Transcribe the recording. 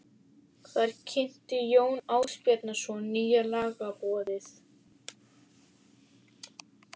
Þar kynnti Jón Ásbjarnarson nýja lagaboðið.